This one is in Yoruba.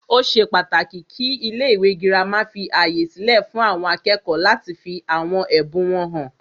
Ó ṣe pàtàkì kí ilé ìwé gírámà fí ààyè sílẹ fún àwọn akẹ́kọ̀ọ́ láti fí àwọn ẹbùn wọn hàn.